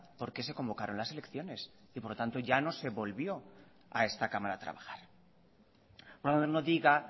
porque se convocaron las elecciones y por lo tanto ya no se volvió a esta cámara a trabajar no diga